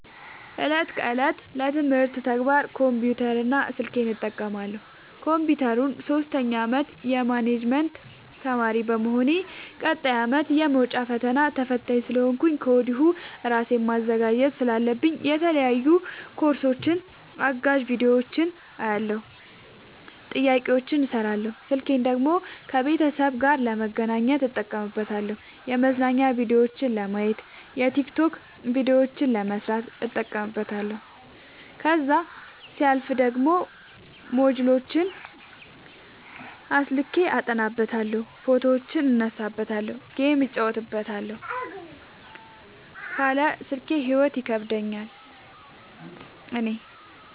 እለት ከእለት ለትምህርት ተግባር ኮምፒውተር እና ስልኬን እጠቀማለሁ። ኮንፒውተሩን ሶስተኛ አመት የማኔጅመት ተማሪ በመሆኔ ቀጣይ አመትም የመውጫ ፈተና ተፈታኝ ስለሆንኩኝ ከወዲሁ እራሴን ማዘጋጀት ስላለብኝ የተለያዩ ኮርሶችን አጋዝ ቢዲዮዎችን አያለሁ። ጥያቄዎችን እሰራለሁ። ስልኬን ደግሞ ከቤተሰብ ጋር ለመገናኘት እጠቀምበታለሁ የመዝናኛ ቭዲዮዎችን ለማየት። የቲክቶክ ቪዲዮዎችን ለመስራት እጠቀምበታለሁ። ከዛሲያልፍ ደግሞ ሞጅልዎችን አስልኬ አጠናበታለሁ። ፎቶዎችን እነሳበታለሀለ። ጌም እጫወትበታለሁ ካለ ስልኬ ሂይወት ይከብደኛል እኔ።